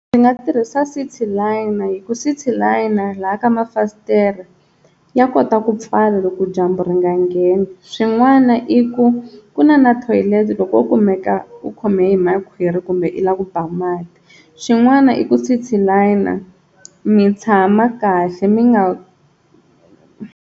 Ndzi nga tirhisa Cityliner hi ku Cityliner laha ka ma fasitere ya kota ku pfala loko dyambu ri nga ngheni swin'wana i ku ku na na toilet loko o kumeka u khome hi makhwiri kumbe i lava ku ba mati, xin'wana i ku Cityliner mi tshama kahle mi nga.